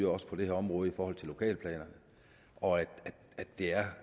også på det her område i forhold til lokalplanerne og at det er